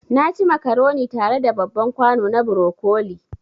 Naci macaroni tare da babban kwano na broccoli